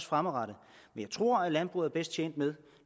fremadrettet jeg tror at landbruget er bedst tjent med